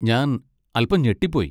ഞാൻ അൽപ്പം ഞെട്ടിപ്പോയി.